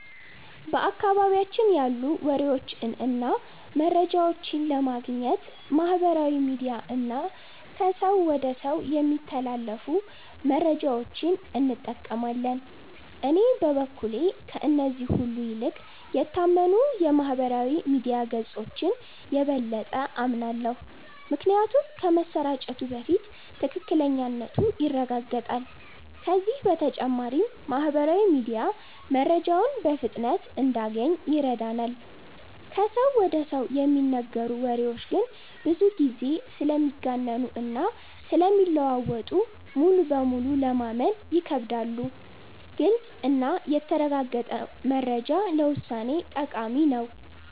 በአካባቢያችን ያሉ ወሬዎችን እና መረጃዎችን ለማግኘት ማህበራዊ ሚዲያ እና ከሰው ወደ ሰው የሚተላለፉ መረጃዎችን እንጠቀማለን። እኔ በበኩሌ ከእነዚህ ሁሉ ይልቅ የታመኑ የማህበራዊ ሚዲያ ገጾችን የበለጠ አምናለሁ። ምክንያቱም ከመሰራጨቱ በፊት ትክክለኛነቱ ይረጋገጣል፤ ከዚህ በተጨማሪም ማህበራዊ ሚዲያ መረጃውን በፍጥነት እንድናገኝ ይረዳናል። ከሰው ወደ ሰው የሚነገሩ ወሬዎች ግን ብዙ ጊዜ ስለሚጋነኑ እና ስለሚለዋወጡ ሙሉ በሙሉ ለማመን ይከብዳሉ። ግልጽ እና የተረጋገጠ መረጃ ለውሳኔ ጠቃሚ ነው።